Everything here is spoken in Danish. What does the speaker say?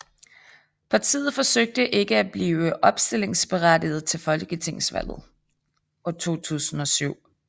Partiet forsøgte ikke at blive opstillingsberettiget til Folketingsvalget 2007